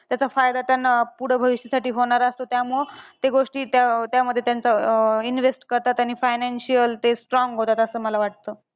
त्याचा फायदा त्यांना पुढे भविष्यासाठी होणार असतो. त्यामुळे ते गोष्टी त्या त्यामध्ये त्यांचा अं invest करतात आणि financial ते strong होतात असं मला वाटतं.